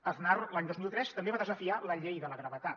aznar l’any dos mil tres també va desafiar la llei de la gravetat